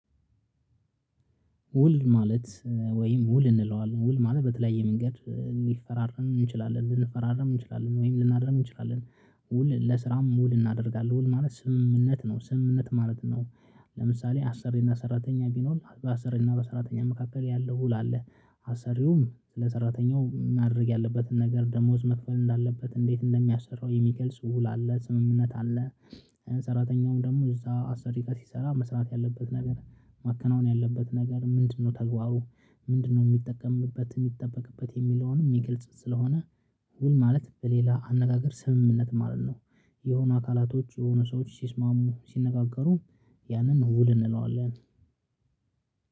ውል ማለት ወይም ውል እንለዋለን ውል ማለት በተለያየ መንገድ ሊፈራረም እንችላለን ልንፈራረም እንችላለን ወይም ልናድርም ውል ለስራም ውል እናደርጋለን ውል ማለት ስምምነት ነው ስምምነት ማለት ነው። ለምሳሌ አሰሪና ሰራተኛ ቢኖር አሰሪና በሰራተኛ መካከል ያለው ውል አለ አሰሪውም ስለ ሰራተኛው ማድረግ ያለበትን ነገር ደሞዝ መክፈል እንዳለበት እንዴት እንደሚያሰራው የሚከል ስውል አለ ስምምነት አለ። ሰራተኛውን ደግሞ እዛ አስር ሪቀር ሲሰራ መስራት ያለበት ነገር ማከናወን ያለበት ነገር ምንድነው? ተግባሩ ምንድነው የሚጠቀምበት የሚጠበቅበት የሚለውንም የሚገልጽ ስለሆነ። ውል ማለት በሌላ አነጋገር ስምምነት ማለት ነው። የሆነ አካላቶች የሆነ ሰዎች ሲስማሙ ሲነጋገሩ ያንን ውል እንለዋለን